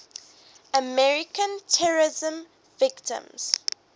american terrorism victims